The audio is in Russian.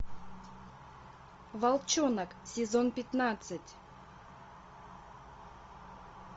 волчонок сезон пятнадцать